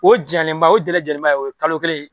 O jaalenba o jaalenba o ye kalo kelen ye